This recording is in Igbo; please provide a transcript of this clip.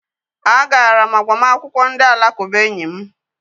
A gara m agbamakwụkwọ ndị alakụba enyi m